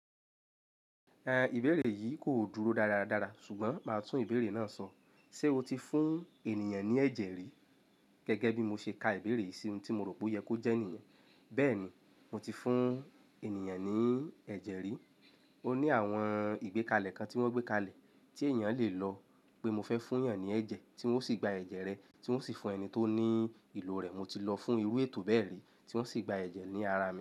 Ìbéèrè yìí kò dúró dára dára dára ṣùgbọ́n màá tún ìbéèrè náà sọ. "Ṣé o ti fún ènìyàn ní ẹ̀jẹ̀ rí?" Gẹ́gẹ́ bí mo ṣe ka ìbéèrè yìí sí ọun tí mo rò pé oyẹ kó jẹ́ nìyen. Bẹ́ẹ̀ni, mo ti fún ènìyàn ní ẹ̀jẹ̀ rí. Ó ní àwọn ìgbékalẹ̀ kan tí wọ́n gbékalẹ̀ tí èèyàn le lọ pé mo fẹ́ fún yàn ní ẹ̀jẹ̀ tí wọ́n osì gba ẹ̀jẹ̀ rẹ, tí wọ́n sì fún ẹni tó ní ìlò rẹ̀. Mo ti lọ fún iru étò bẹ́ẹ̀ri tí wọ́n sì gba ẹ̀jẹ̀ ní ara mi.